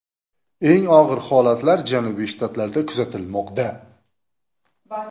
Eng og‘ir holatlar janubiy shtatlarda kuzatilmoqda.